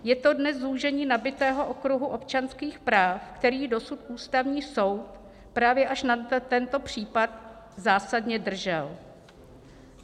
Je to dnes zúžení nabytého okruhu občanských práv, který dosud Ústavní soud, právě až na tento případ, zásadně držel."